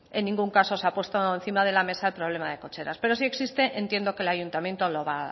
en ningún caso se ha puesto encima de la mesa el problema de cocheras pero si existe entiendo que el ayuntamiento